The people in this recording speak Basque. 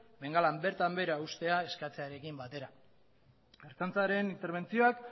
bengalan bertan behera uztea eskatzearekin batera ertzaintzaren interbentzioak